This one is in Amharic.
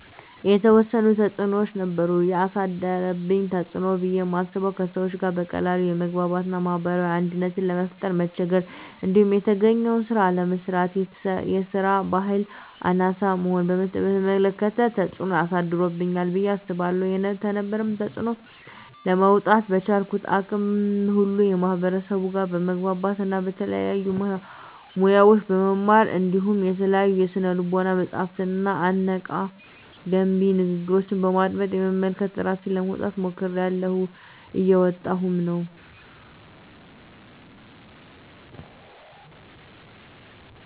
የተዎሰኑ ተፅኖዎች ነበሩ። የአሳደረብኝ ተፅኖ ብየ ማስበው:- ከሰዎች ጋር በቀላሉ የመግባባት እና ማህበራዊ አንድነትን ለመፍጠር መቸገር። እንዲሁም የተገኘውን ስራ አለመስራት እና የስራ በህል አናሳ መሆንን በተመለከተ ተፅኖ አሳድሮብኛል ብየ አስባለሁ። ከነበረብኝ ተፅኖ ለመውጣ:- በቻልኩት አቅም ሁሉ ከማህበርሰቡ ጋር በመግባባት እና የተለያዩ ሙያዎችን በመማር እንዲሁም የተለያዩ የስነ ልቦና መፀሀፍትንና አነቃ፣ ገንቢ ንግግሮችን በማድመጥ፣ በመመልከት እራሴን ለማውጣት ሞክሬላሁ። እየወጣሁም ነው።